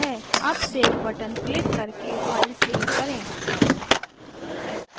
अब save button click करके file save करें